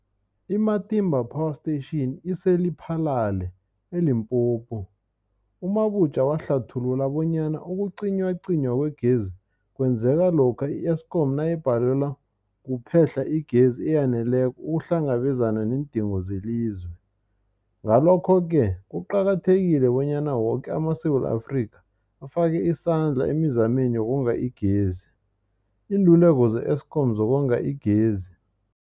I-Matimba Power Station ise-Lephalale, eLimpopo. U-Mabotja wahlathulula bonyana ukucinywacinywa kwegezi kwenzeka lokha i-Eskom nayibhalelwa kuphe-hla igezi eyaneleko ukuhlangabezana neendingo zelizwe. Ngalokho-ke kuqakathekile bonyana woke amaSewula Afrika afake isandla emizameni yokonga igezi. Iinluleko ze-Eskom ngokonga igezi.